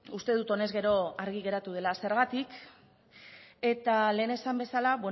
uste dut honez gero argi geratu dela zergatik eta lehen esan bezala